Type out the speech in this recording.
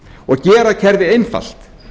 og gera kerfið einfalt